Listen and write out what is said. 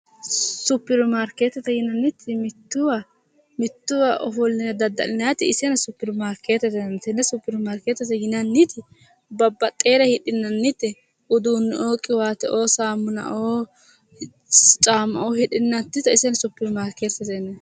supiri marikeetete yinanniti mittowa ofoline dada'linanniti iseno supiri markeetete yinanni tenne supiri marikeetete yinanniti babaxeere hidhinannite uduuneoo qiwaateoo saamunnaoo caammaoo hidhinannita supiri maarkeetete yinayi